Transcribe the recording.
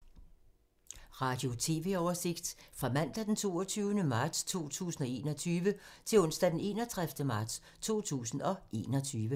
Radio/TV oversigt fra mandag d. 22. marts 2021 til onsdag d. 31. marts 2021